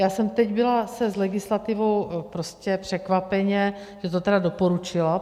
Já jsem teď byla se s legislativou - prostě překvapeně, že to tedy doporučila.